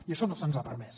i això no se’ns ha permès